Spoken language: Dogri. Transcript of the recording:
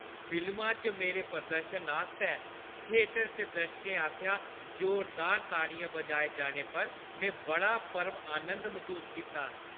फिल्मा च मेरे प्रदर्शन आस्तै थेटर च दर्शकें आसेआ जोरदार ताड़ियां बजाए जाने पर में बड़ा परम नंद मसूस कीता।